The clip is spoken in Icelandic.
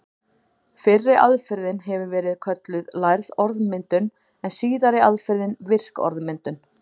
Fyrri aðferðin hefur verið kölluð lærð orðmyndun en síðari aðferðin virk orðmyndun.